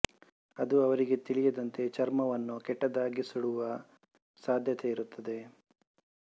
ಅದು ಅವರಿಗೆ ತಿಳಿಯದಂತೆ ಚರ್ಮವನ್ನು ಕೆಟ್ಟದಾಗಿ ಸುಡುವ ಸಾಧ್ಯತೆ ಇರುತ್ತದೆ